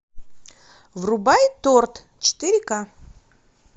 врубай торт четыре ка